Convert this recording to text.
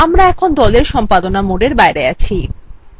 আমরা এখন দলwe সম্পাদনা mode we বাইরে আছি